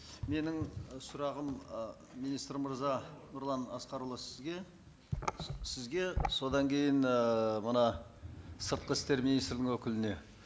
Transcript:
менің сұрағым ы министр мырза нұрлан асқарұлы сізге сізге содан кейін ііі мына сыртқы істер министрінің өкіліне